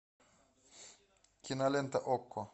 кинолента окко